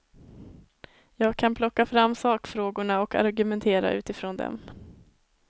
Jag kan plocka fram sakfrågorna och argumentera utifrån dem.